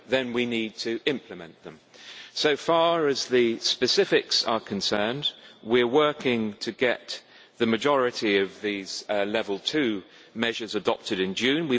Then we need to implement them. So far as the specifics are concerned, we are working to get the majority of these Level 2 measures adopted in June.